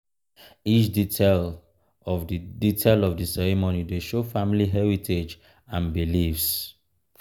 each detail of the detail of the ceremony dey show family heritage and beliefs.